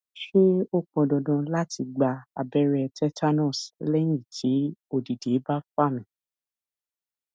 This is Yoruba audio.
ṣé ó pọn dandan lati gba abẹrẹ tetanus lẹyin ti odidẹ ba fa mi